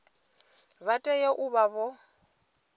vha tea u vha vho